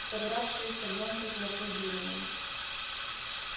собравшиеся громко зааплодировали